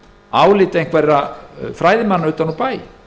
álit einhverra fræðimanna utan úr bæ